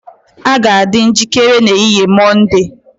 A ga-adị njikere n'ehihie Mọnde